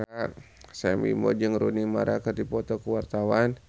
Sam Bimbo jeung Rooney Mara keur dipoto ku wartawan